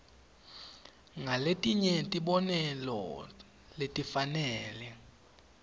ngaletinye tibonelo letifanele